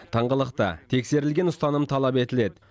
тыңғылықты тексерілген ұстаным талап етіледі